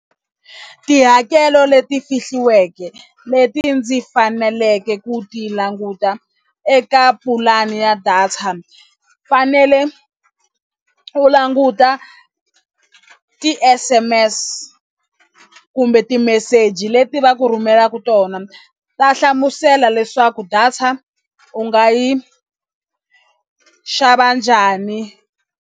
Tihakelo leti fihliweke leti ndzi faneleke ku ti languta eka pulani ya data fanele u languta ti-s_m_s kumbe timeseji leti va ku rhumelaka tona ta hlamusela leswaku data u nga yi xava njhani.